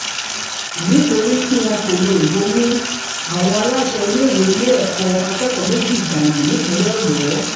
nítorí tí wọn kò lo ìbomú àwọn aláṣẹ iléèwé lé akẹ́kọ̀ọ́ méjì méjì dànù nípínlẹ̀ ọ̀yọ́